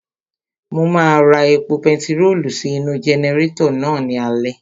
Mo máa ra epo pentiróòlù sí inú-u jẹnẹrétọ̀ náà ní alẹ́